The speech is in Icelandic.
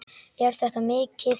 Er þetta mikið?